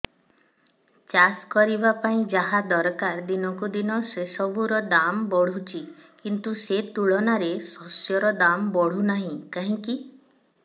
ଚାଷ କରିବା ପାଇଁ ଯାହା ଦରକାର ଦିନକୁ ଦିନ ସେସବୁ ର ଦାମ୍ ବଢୁଛି କିନ୍ତୁ ସେ ତୁଳନାରେ ଶସ୍ୟର ଦାମ୍ ବଢୁନାହିଁ କାହିଁକି